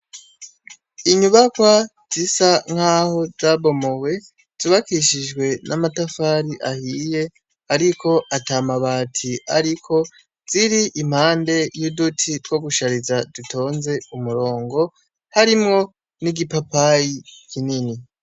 Inyubakwa zisa nkaho zabomowe, zubakishijwe n'amatafari ahiye, ariko atamabati ariko, ziri impande y'uduti two gushariza dutonze umurongo, harimwo nig'ipapayi kinini.